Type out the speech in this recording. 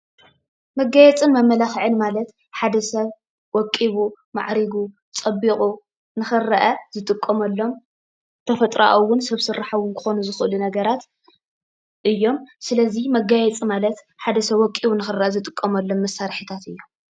መጋየፅን መማላኽዕን ማለት ሓደ ሰብ ወቅቡ፣ ማዕርጉ ፣ፀቢቑ ንኽረአ ዝጥቀመሎሞ ተፈጥራኣውን ሰብ ስራሕ ክኾኑ ዝኽእሉ ነገራት እዮሞ፡፡ ስለዚ መጋየፂ ማለት ሓደ ሰብ ወቂቡ ንኽረአ ዝጥቀመሎም መሳርሕታተ እዮሞ፡፡